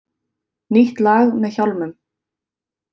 Nýtt lag með Hjálmum